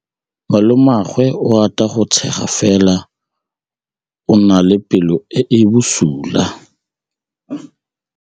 Malomagwe o rata go tshega fela o na le pelo e e bosula.